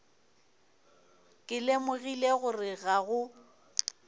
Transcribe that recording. ke lemogile gore ga go